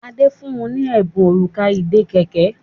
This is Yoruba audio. Ade fún ní Ẹbùn Òrùka ìdè kẹ̀kẹ́.